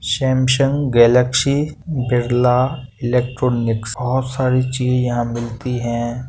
Samsung Galaxy Birla electronics बहोत सारी चीज यहाँ मिलती हैं।